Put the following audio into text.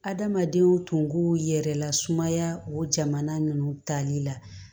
Adamadenw tunko yɛrɛ lasumaya o jamana ninnu tali la